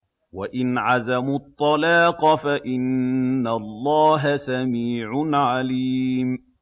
وَإِنْ عَزَمُوا الطَّلَاقَ فَإِنَّ اللَّهَ سَمِيعٌ عَلِيمٌ